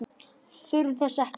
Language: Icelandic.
Við þurfum þess ekki.